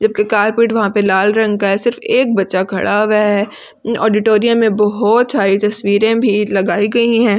जबकि कारपीट वहाँ पर लाल रंग का है सिर्फ एक बच्चा खड़ा हुआ है ऑडिटोरियम में बहोत सारी तस्वीरें भी लगाई गई हैं।